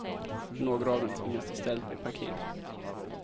Några av dem tvingas istället bli parkeringsvakter.